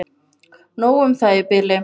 Nóg um það í bili.